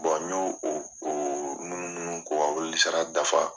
n y'o o munnu munnu k'o ka weleli sara dafa.